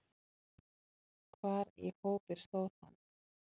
Hvar í hópi stóð hann?